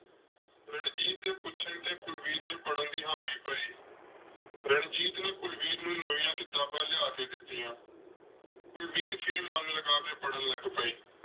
ਰਣਜੀਤ ਦੇ ਪੁੱਛਣ ਤੇ ਕੁਲਵੀਰ ਨੇ ਪੜ੍ਹਨ ਦੀ ਹਾਮੀ ਭਰੀ। ਰਣਜੀਤ ਨੇ ਕੁਲਵੀਰ ਨੂੰ ਨਵੀਆਂ ਕਿਤਾਬਾਂ ਲਿਆ ਕੇ ਦਿੱਤੀਆਂ। ਕੁਲਵੀਰ ਫਿਰ ਮਨ ਲਗਾ ਕੇ ਪੜ੍ਹਨ ਲੱਗ ਪਈ।